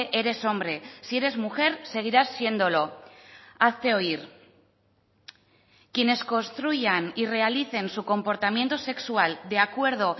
eres hombre si eres mujer seguirás siéndolo hazte oír quienes construyan y realicen su comportamiento sexual de acuerdo